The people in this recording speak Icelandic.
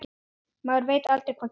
Maður veit aldrei hvað gerist.